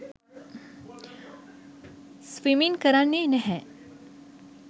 Swimming කරන්නේ නැහැ.